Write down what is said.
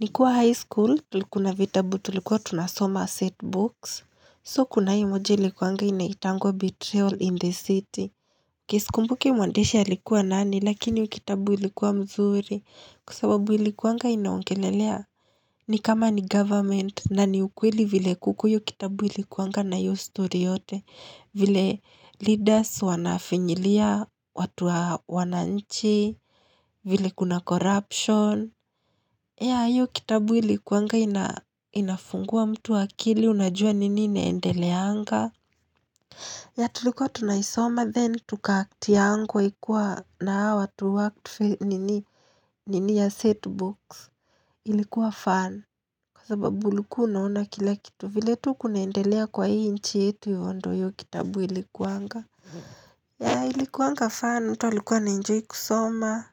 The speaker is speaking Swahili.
Nikuwa high school, tulikuna vitabu, tulikuwa tunasoma set books. So, kuna hii moja likuanga inaitangwa betrayal in the city. Kisikumbuki muandesha likuwa nani, lakini kitabu likuwa mzuri. Kusababu likuanga inaongelelea. Ni kama ni government na ni ukweli vile kukuyu kitabu likuanga na yu story yote. Vile leaders wanafinyilia, watu wana nchi, vile kuna corruption. Ya, yu kitabu ilikuanga inafungua mtu akili, unajua nini ineendeleanga. Ya tulikuwa tunaisoma, then tuka aktiangwa ikua na watu aktufe nini ya setbooks, ilikuwa fan. Kwa sababu luku unaona kila kitu, vile tu kunaendelea kwa hii nchi yetu yu ondo yu kitabu ilikuanga. Ya ilikuwanga fan mtu alikuwa ana enjoyn kusoma.